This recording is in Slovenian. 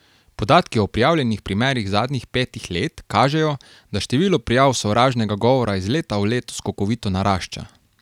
Podatki o prijavljenih primerih zadnjih petih let kažejo, da število prijav sovražnega govora iz leta v leto skokovito narašča.